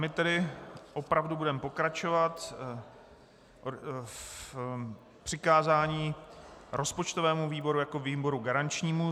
My tedy opravdu budeme pokračovat v přikázání rozpočtovému výboru jako výboru garančnímu.